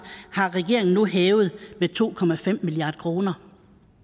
har regeringen nu hævet med to milliard kroner